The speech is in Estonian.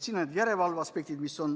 Siin on teatud järelevalveaspektid.